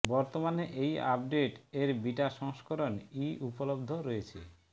বর্তমানে এই আপডেট এর বিটা সংস্করণ ই উপলব্ধ রয়েছে